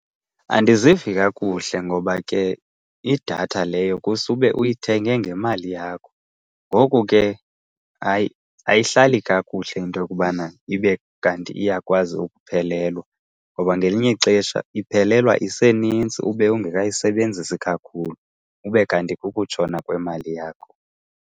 Andizivi kakuhle ngoba ke idatha leyo kusube uyithenge ngemali yakho. Ngoko ke hayi ayihlali kakuhle into yokubana ibe kanti iyakwazi ukuphelelwa, ngoba ngelinye ixesha iphelelwa iseninzi ube ungekayisebenzisi kakhulu, ube kanti kukutshona kwemali yakho.